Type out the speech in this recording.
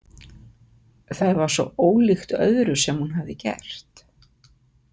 Það var svo ólíkt öðru sem hún hafði gert.